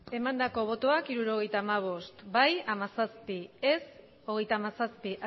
emandako botoak hirurogeita hamabost bai hamazazpi ez hogeita hamazazpi